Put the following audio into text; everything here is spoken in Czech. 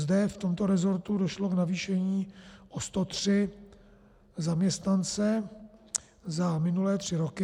Zde v tomto resortu došlo k navýšení o 103 zaměstnance za minulé tři roky.